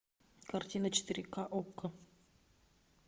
картина четыре ка окко